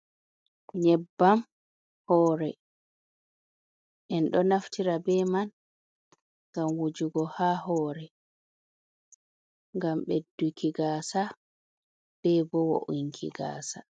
Nyebbam hore, en ɗo naftira be man ngam wujugo ha hore, gam bedduki gasa bebo wo'inki gasa.